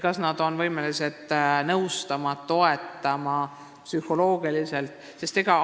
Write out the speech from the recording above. Kas nad on võimelised nõustama ja psühholoogilist tuge pakkuma?